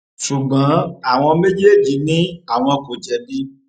ṣùgbọn àwọn méjèèjì ni àwọn kò jẹbi